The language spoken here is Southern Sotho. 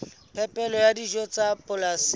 phepelo ya dijo tsa polasing